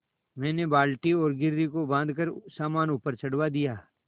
मैंने बाल्टी और घिर्री को बाँधकर सामान ऊपर चढ़वा दिया